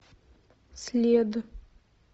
след